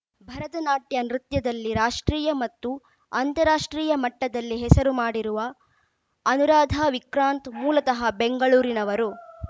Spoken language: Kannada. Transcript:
ಭರತನಾಟ್ಯ ನೃತ್ಯದಲ್ಲಿ ರಾಷ್ಟ್ರೀಯ ಮತ್ತು ಅಂತಾರಾಷ್ಟ್ರೀಯ ಮಟ್ಟದಲ್ಲಿ ಹೆಸರು ಮಾಡಿರುವ ಅನುರಾಧ ವಿಕ್ರಾಂತ್‌ ಮೂಲತಃ ಬೆಂಗಳೂರಿನವರು